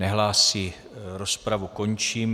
Nehlásí, rozpravu končím.